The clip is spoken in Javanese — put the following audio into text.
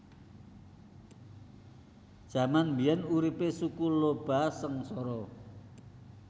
Jaman biyen uripe Suku Lhoba sengsara